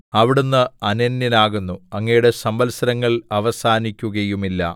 അവിടുന്ന് അനന്യനാകുന്നു അങ്ങയുടെ സംവത്സരങ്ങൾ അവസാനിക്കുകയുമില്ല